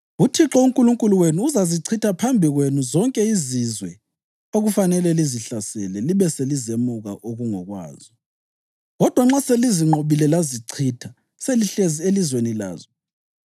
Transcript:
UThixo uNkulunkulu wenu uzazichitha phambi kwenu zonke izizwe okufanele lizihlasele libe selizemuka okungokwazo. Kodwa nxa selizinqobile lazichitha selihlezi elizweni lazo,